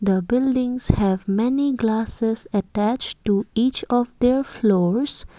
the buildings have many glasses attached to each of their floors.